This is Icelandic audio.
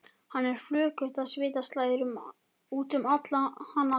Henni er flökurt og svita slær út um hana alla.